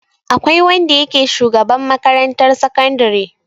Akwai wanda yake shugaban makarantar sakandare.